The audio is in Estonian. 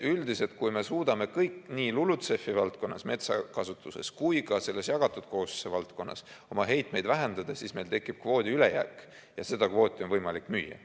Üldiselt, kui me suudame kõik nii LULUCF‑i valdkonnas, metsakasutuses kui ka selles jagatud kohustuse valdkonnas oma heitmeid vähendada, siis meil tekib kvoodi ülejääk ja seda kvooti on võimalik müüa.